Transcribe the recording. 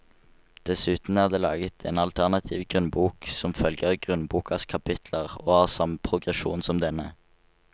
Dessuten er det laget en alternativ grunnbok som følger grunnbokas kapitler og har samme progresjon som denne.